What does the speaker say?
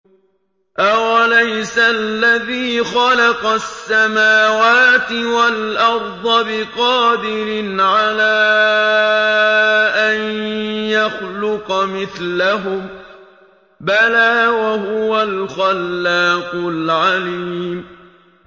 أَوَلَيْسَ الَّذِي خَلَقَ السَّمَاوَاتِ وَالْأَرْضَ بِقَادِرٍ عَلَىٰ أَن يَخْلُقَ مِثْلَهُم ۚ بَلَىٰ وَهُوَ الْخَلَّاقُ الْعَلِيمُ